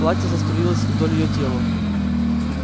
платье заструилось вдоль её тела